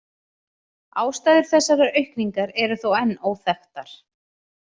Ástæður þessarar aukningar eru þó enn óþekktar.